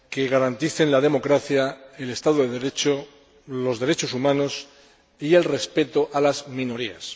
garantice la democracia, el Estado de Derecho, los derechos humanos y el respeto a las minorías.